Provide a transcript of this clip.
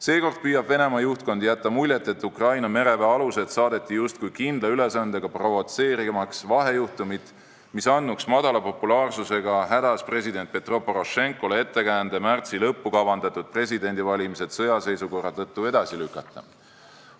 Seekord püüab Venemaa juhtkond jätta muljet, et Ukraina mereväealused saadeti justkui kindla ülesandega, provotseerimaks vahejuhtumit, mis andnuks vähese populaarsusega hädas olevale president Petro Porošenkole ettekäände märtsi lõppu kavandatud presidendivalimised sõjaseisukorra tõttu edasi lükata.